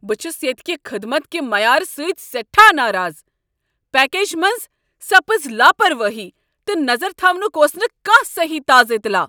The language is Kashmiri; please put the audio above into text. بہٕ چھس ییٚتہ کہ خدمت کہ معیارٕ سۭتۍ سٮ۪ٹھاہ ناراض۔ پیکیج منز سپٕز لاپروٲہی ، تہٕ نظر تھاونک اوس نہٕ كانہہ سہی تازٕ اطلاع۔